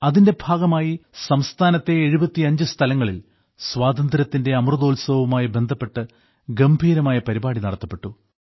അതിന്റെ ഭാഗമായി സംസ്ഥാനത്തെ 75 സ്ഥലങ്ങളിൽ സ്വാതന്ത്ര്യത്തിന്റെ അമൃതോത്സവവുമായി ബന്ധപ്പെട്ട് ഗംഭീരമായ പരിപാടി നടത്തപ്പെട്ടു